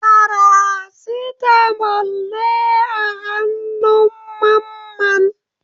Farasitamol ne a hannun Mamman?